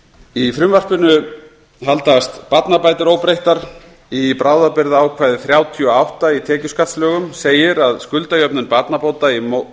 í frumvarpinu haldast barnabætur óbreyttar í bráðabirgðaákvæði þrjátíu og átta í tekjuskattslögum segir að skuldajöfnun barnabóta